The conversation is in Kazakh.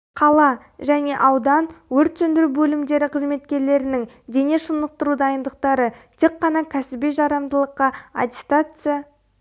қала және аудан өрт сөндіру бөлімдері қызметкерлерінің дене шынықтыру дайындықтары тек қана кәсіби жарамдылыққа аттестация